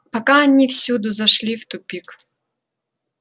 пока они всюду зашли в тупик